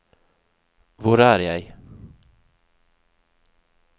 hvor er jeg